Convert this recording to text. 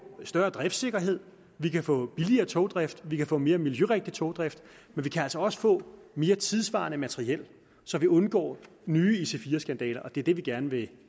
større driftsikkerhed vi kan få billigere togdrift vi kan få mere miljørigtig togdrift men vi kan altså også få mere tidssvarende materiel så vi undgår nye ic4 skandaler og det er det vi gerne vil